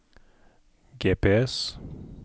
GPS